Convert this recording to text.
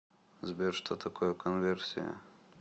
сбер что такое конверсия